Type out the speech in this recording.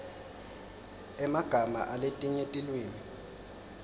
emagama aletinye tilwimi